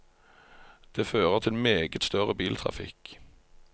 Det fører til meget større biltrafikk.